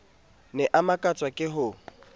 ne a makatswa ke ho